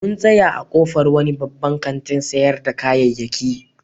Mun tsaya a ƙofar wani babban kantin sayar da kayayyaki.